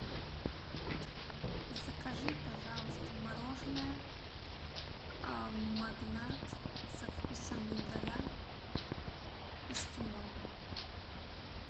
закажи пожалуйста мороженое магнат со вкусом миндаля эскимо